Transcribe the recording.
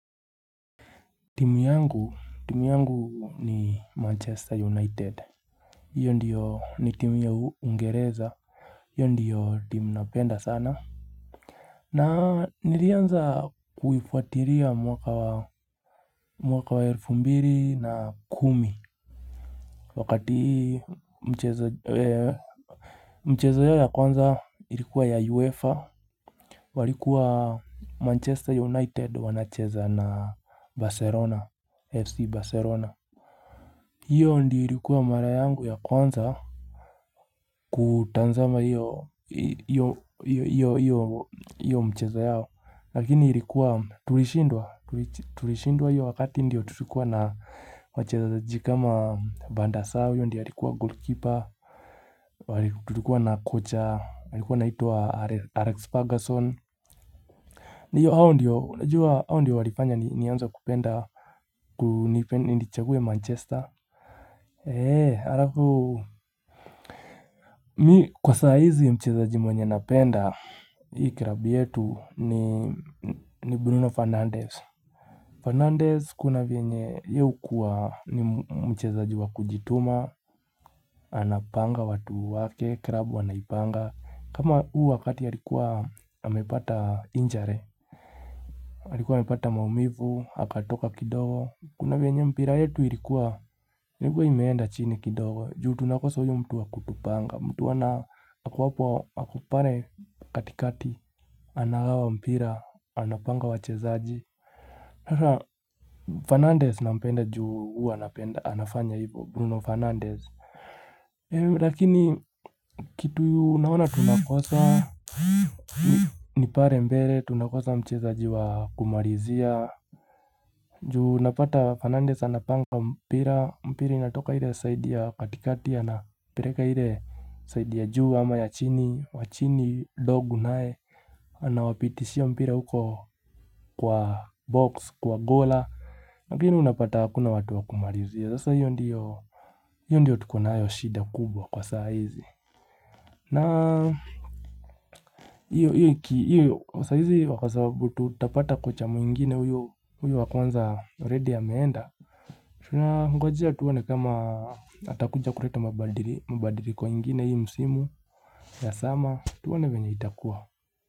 Timu yangu ni Manchester United Iyo ndiyo ni timu ya Ungereza Iyo ndiyo timu napenda sana na nirianza kuifuatiria mwaka wa mwaka wa elfu mbiri na kumi Wakati mchezo yao ya kwanza ilikua ya uefa walikuwa Manchester United wanacheza na Barcelona FC Barcelona hiyo ndi hirikuwa mara yangu ya kwanza kutanzama hiyo mcheza yao lakini hirikuwa tulishindwa hiyo wakati ndiyo tulikuwa na wacheza zaji kama banda sawi hiyo ndiyo hirikuwa goalkeeper hirikuwa na kocha hirikuwa naituwa alex pergason hiyo hao ndiyo unajua hao ndiyo walipanya ni anza kupenda nindichagwe manchester eee harafu Mi kwa saizi ya mchezaji mwenye napenda, hii krabi yetu ni Bruno Fernandez. Fernandez kuna vienye ya ukua ni mchezaji wa kujituma, anapanga watu wake, krabu wanaipanga. Kama u wakati ya likuwa amepata injury, alikuwa amepata maumivu, hakatoka kidogo. Kuna vienye mpira yetu ilikuwa, ilikuwa imeenda chini kidogo. Juu tunakosa huyu mtu wakutupanga mtu wana kuwapo akupare katikati Anagawa mpira, anapanga wachezaji Fernandez na mpenda juu anapenda, anafanya hivo Bruno Fernandez Lakini kitu yu naona tunakosa Nipare mbele, tunakosa mchezaji wakumarizia juu napata Fernandez anapanga mpira Mpiri natoka hile saidi ya katikatia na pireka hile saidi ya juu ama ya chini, wachini, dog nae Anawapitishia mpira huko kwa box, kwa gola Lakini unapata hakuna watu wakumarizia Zasa hiyo ndiyo tukunayo shida kubwa kwa saa hizi na hiyo saa hizi wakasabu tutapata kocha mwingine huyo wakuanza already ya meenda Tunangojea tuone kama atakuja kureto mabadiri Mabadiri kwa ingina hii msimu ya sama tuwana wenye itakuwa.